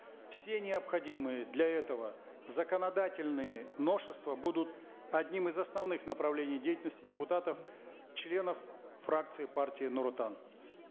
все необходимые для этого законодательные новшества будут одним из основных направлений деятельности депутатов членов фракции партии нур отан